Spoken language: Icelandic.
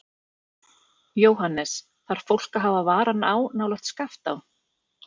Jóhannes: Þarf fólk að hafa varan á nálægt Skaftá?